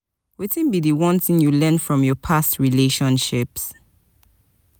wetin be di one thing you learn from your past relationships?